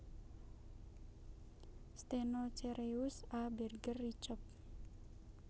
Stenocereus A Berger Riccob